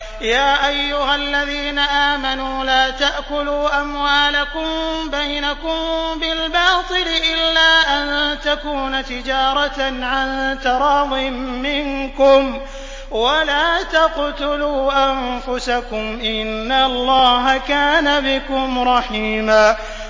يَا أَيُّهَا الَّذِينَ آمَنُوا لَا تَأْكُلُوا أَمْوَالَكُم بَيْنَكُم بِالْبَاطِلِ إِلَّا أَن تَكُونَ تِجَارَةً عَن تَرَاضٍ مِّنكُمْ ۚ وَلَا تَقْتُلُوا أَنفُسَكُمْ ۚ إِنَّ اللَّهَ كَانَ بِكُمْ رَحِيمًا